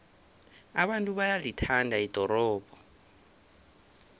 abantu bayalithanda ldorobho